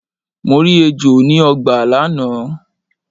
Mo rí ejò ni ọgbà lánàá.